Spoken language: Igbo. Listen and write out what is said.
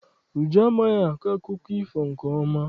Uju amaghị akọ akụkọ ifo nke ọma.